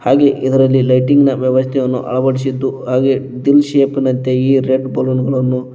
ಇಲ್ಲಿ ಇದರಲ್ಲಿ ಲೈಟಿಂಗ್ ನ ವ್ಯವಸ್ಥೆಯನ್ನು ಅಳವಡಿಸಿದ್ದು ಹಾಗೆ ದಿಲ್ ಶೇಪ್ ಇನಂತೆ ಈ ರೆಡ್ ಬಲೂನ್ ಗಳನ್ನು--